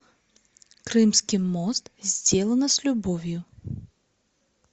крымский мост сделано с любовью